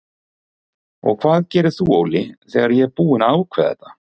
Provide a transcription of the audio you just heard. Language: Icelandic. Og hvað gerir þú Óli þegar ég er búinn að ákveða þetta?